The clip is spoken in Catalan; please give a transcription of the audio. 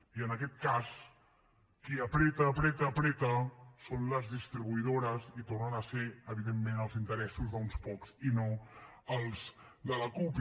i en aquest cas qui apreta apreta apreta són les distribuïdores i tornen a ser evidentment els interessos d’uns pocs i no els de la cup